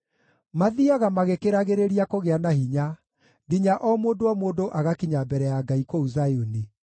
Mathiiaga magĩkĩragĩrĩria kũgĩa na hinya, nginya o mũndũ o mũndũ agakinya mbere ya Ngai kũu Zayuni.